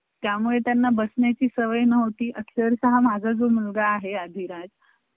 अं हां ते graphic च ना